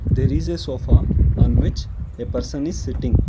there is a sofa on which a person is sitting.